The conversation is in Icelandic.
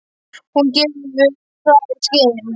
Hún hefur gefið það í skyn.